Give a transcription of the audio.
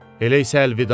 Elə isə əlvida.